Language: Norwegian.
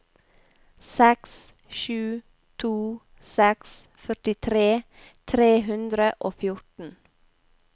seks sju to seks førtitre tre hundre og fjorten